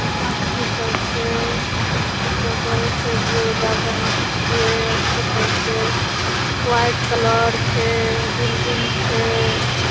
अथी सब छे। अथी सब करे छे। बरोदा बैंक छे। अथी सब छे। वाइट कलर छे बिल्डिंग छे।